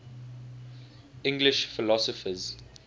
english philosophers